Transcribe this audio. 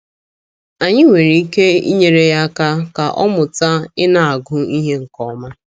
Anyị nwere ike inyere ya aka ka ọ mụta ịna - agụ ihe nke ọma.